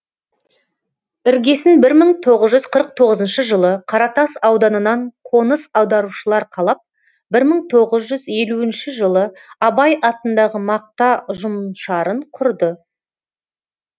іргесін бір мың тоғыз жүз қырық тоғызыншы жылы қаратас ауданынан қоныс аударушылар қалап бір мың тоғыз жүз елуінші жылы абай атындағы мақта ұжымшарын құрды